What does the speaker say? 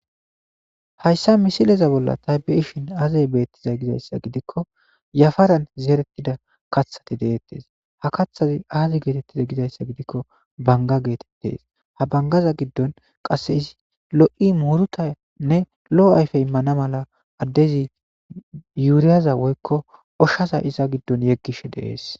Hayssa missileza bolla tay beishshin aaze bettizay gizayssa giidikko yaafaran zerretida kaththati de'ettes ha kaththazi aazi getteti giizayssa giidiko bangga gettetes ha bangaza giddon lo'ii i muuruttane lo'o ayffe immana maala adezi uuriyaza woykko oshshaza izza giddon yeggishe de'esse.